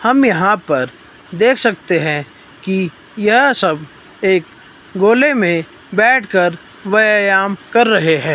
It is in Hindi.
हम यहां पर देख सकते हैं कि यह सब एक गोले में बैठकर व्यायाम कर रहे हैं।